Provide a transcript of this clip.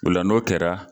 O la n'o kɛra